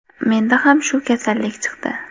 Mendan ham shu kasallik chiqdi.